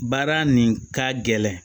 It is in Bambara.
Baara nin ka gɛlɛn